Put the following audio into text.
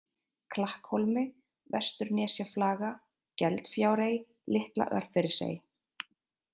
Klakkhólmi, Vesturnesjaflaga, Geldfjárey, Litla-Örfirisey